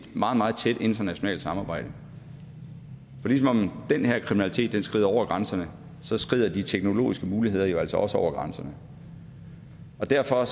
meget meget tæt internationalt samarbejde for ligesom den her kriminalitet skrider hen over grænserne skrider de teknologiske muligheder jo altså også hen over grænserne derfor